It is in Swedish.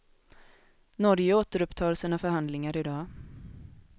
Norge återupptar sina förhandlingar i dag.